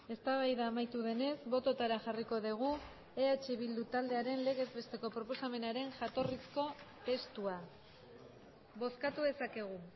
eztabaida amaitu denez bototara jarriko dugu eh bildu taldearen legez besteko proposamenaren jatorrizko testua bozkatu dezakegu